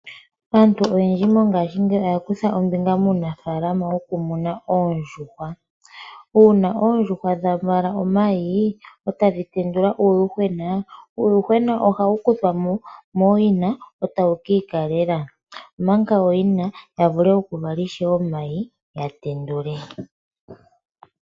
Aantu oyendji mongashingeyi oya kutha ombinga muunafaalama wokumuna oondjuhwa. Uuna oondjuhwa dha vala omayi e tadhi tendula uuyuhwena, uuyuhwena ohawu kuthwa mooyina e ta wu ikalele , opo ooyina ya vule ishewe oku vala omayi e ta ye ga tendula.